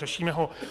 Řešíme ho.